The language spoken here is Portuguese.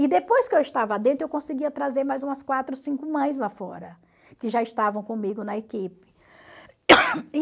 E depois que eu estava dentro, eu conseguia trazer mais umas quatro, cinco mães lá fora, que já estavam comigo na equipe.